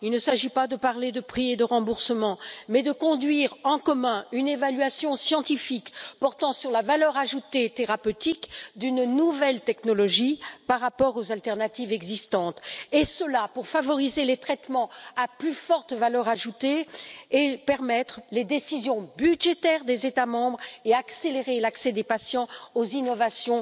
Il ne s'agit pas de parler de prix et de remboursement mais de conduire en commun une évaluation scientifique portant sur la valeur ajoutée thérapeutique d'une nouvelle technologie, par rapport aux alternatives existantes, et cela pour favoriser les traitements à plus forte valeur ajoutée, permettre les décisions budgétaires des États membres et accélérer l'accès des patients aux innovations